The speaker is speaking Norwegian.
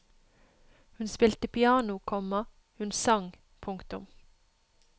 Hun spilte piano, komma hun sang. punktum